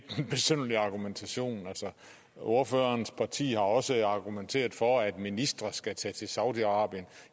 besynderlig argumentation ordførerens parti har også argumenteret for at ministre skal tage til saudi arabien